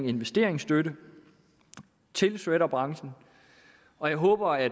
investeringsstøtte til shredderbranchen og jeg håber at